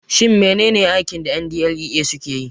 Shin menene aikin da NDLEA suke yi?